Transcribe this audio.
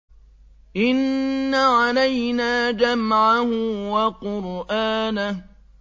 إِنَّ عَلَيْنَا جَمْعَهُ وَقُرْآنَهُ